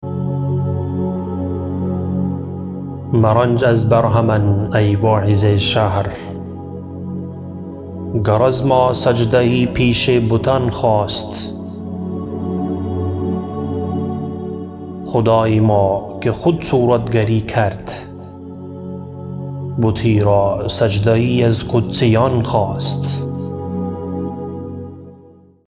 مرنج از برهمن ای واعظ شهر گر از ما سجده یی پیش بتان خواست خدای ما که خود صورتگری کرد بتی را سجده یی از قدسیان خواست